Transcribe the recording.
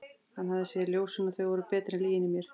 Hann hafði séð ljósin og þau voru betri en lygin úr mér.